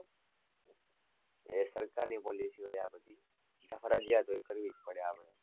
એ સરકારની policy હોય આ બધી, એ ફરજીયાત હોય કરવી જ પડે આ બધી